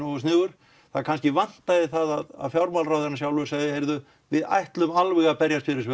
nógu sniðugur það kannski vantaði það að fjármálaráðherrann sjálfur segði heyrðu við ætlum alveg að berjast fyrir